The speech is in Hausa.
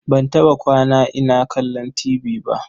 Ban taɓa kwana ina kallon tibi ba.